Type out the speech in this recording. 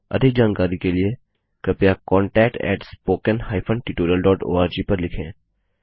अधिक जानकारी के लिए कृपया contactspoken tutorialorg पर लिखें